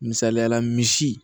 Misaliyala misi